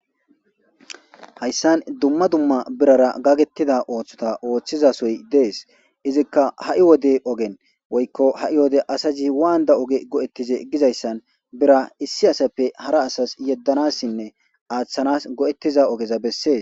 Hayisani dumma dumma birara gaketida osota oththizasoyi deesi izikka hai Wode ogeni woyikkoha Wode asazi wanida oge goetize gizayisani bira issi asappe hara asasi hedanasinnen aththanasi betiza ogeza beesesi